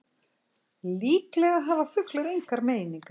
Líklega hafa fuglar engar meiningar.